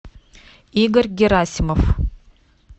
игорь герасимов